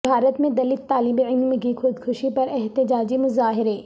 بھارت میں دلت طالب علم کی خودکشی پر احتجاجی مظاہرے